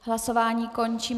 Hlasování končím.